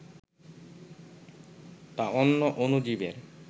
তা অন্য অণুজীবের